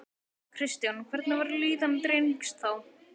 Kristján: Hvernig var líðan drengs þá?